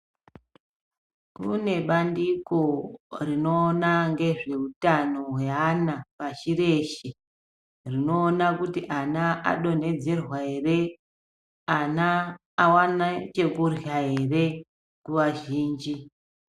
Kune bandiko rinoona ngezveutano yeaana pashi reshe rinoona kuti ana adonhedzerwa ere ana aone chekurya ere nguwa zhinji.